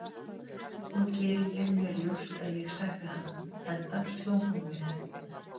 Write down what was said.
Nú geri ég mér ljóst að ég særði hana, enda sló hún mig.